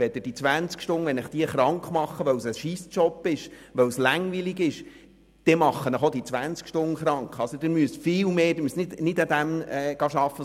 Wenn Sie die 20 Stunden krank machen, weil es ein lausiger und langweiliger Job ist, dann reichen eben auch 20 Stunden dazu aus, Sie krank zu machen.